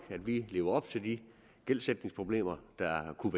lever op til de gældsætningsproblemer der kunne